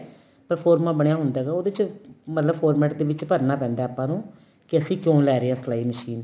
pro forma ਬਣਿਆ ਹੁੰਦਾ ਹੈਗਾ ਉਹਦੇ ਚ ਮਤਲਬ format ਦੇ ਵਿੱਚ ਭਰਨਾ ਪੈਂਦਾ ਆਪਾਂ ਨੂੰ ਕੀ ਅਸੀਂ ਕਿਉਂ ਲੈ ਰਹੇ ਆ ਸਲਾਈ machine